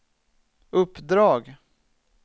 uppdrag